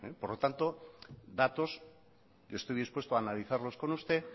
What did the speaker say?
por lo tanto datos yo estoy dispuesto a analizarlos con usted